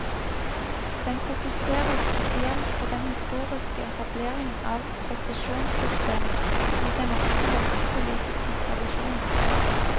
Den fokuserer spesielt på den historiske etableringen av profesjonssystemet i den norske helsepolitiske tradisjonen.